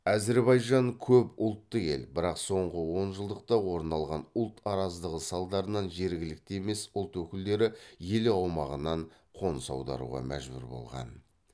әзірбайжан көпұлтты ел бірақ соңғы онжылдықта орын алған ұлт араздығы салдарынан жергілікті емес ұлт өкілдері ел аумағынан қоныс аударуға мәжбүр болған